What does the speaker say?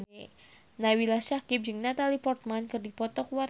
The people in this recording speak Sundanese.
Nabila Syakieb jeung Natalie Portman keur dipoto ku wartawan